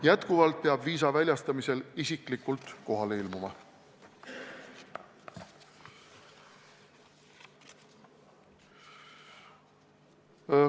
Edaspidigi peab välismaalane viisa väljastamisel isiklikult kohale ilmuma.